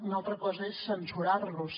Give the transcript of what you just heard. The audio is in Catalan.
una altra cosa és censurar los